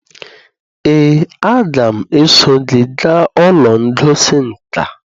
ee, aga m eso gị gaa ụlọ ngosi nka